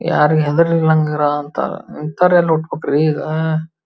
ಯಾರು ಹೆದ್ರಿಗಿಲ್ಲ ಅಂತರ ಅಂಥವರ ಹುಟ ಬೇಕ್ರಿ ಇಗ.